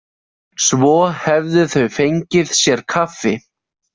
Svo hefðu þau fengið sér kaffi.